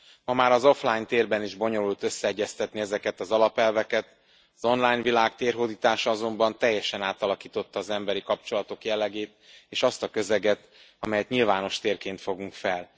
Ma már az offline térben is bonyolult összeegyeztetni ezeket az alapelveket, az online világ térhódítása azonban teljesen átalakította az emberi kapcsolatok jellegét és azt a közeget, amelyet nyilvános térként fogunk fel.